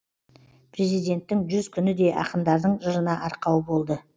президенттің жүз күні де ақындардың жырына арқау болды